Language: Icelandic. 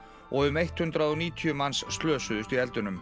og um hundrað og níutíu manns slösuðust í